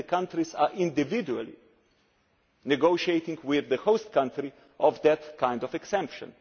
Today, the countries are individually negotiating with the host country on that kind of exemption.